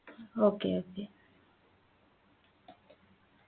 okay okay